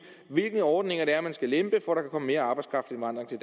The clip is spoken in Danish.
hvilke ordninger det er man skal lempe for at komme mere arbejdskraftindvandring til